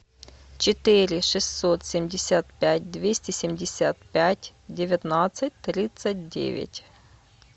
четыре шестьсот семьдесят пять двести семьдесят пять девятнадцать тридцать девять